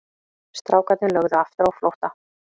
Strákarnir lögðu aftur á flótta.